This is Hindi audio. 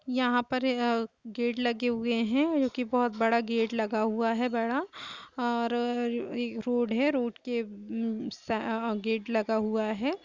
यहां पर अ गेट लगे हुए है और जो की बहुत बड़ा गेट लगा हुआ है बड़ा और रोड है और रोड के सा गेट लगा हुआ है।